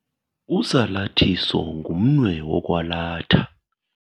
Usalathiso ngumnwe wokwalatha.